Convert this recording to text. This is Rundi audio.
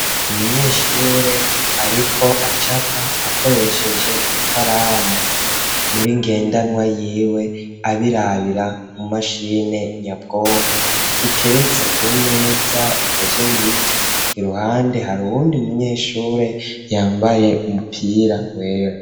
Umunyeshure, ariko acapa akoresheje i karamu muri ngendanwa yiwe abirabira mu mashine nyabwonko iteretse ku meza ikozwe mu biti i ruhande hari uwundi umunyeshure yambaye umupira wera.